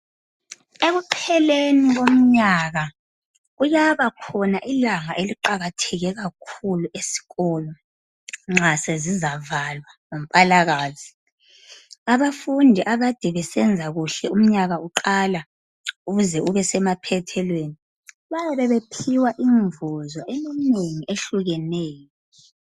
Ekupheleni komnyaka kuyaba khona ilanga eliqakatheke kakhulu eskolo nxa sezizavalwa ngoMpalakazi abafundi akade besenza kuhle umnyaka uqalisa uze ube semaphethelweni bayabe bephiwa imivuzo eminengi ehlukeneyo.